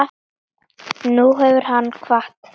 Og nú hefur hann kvatt.